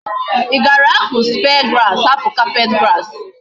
I gara aku spear grass hapu carpet grass?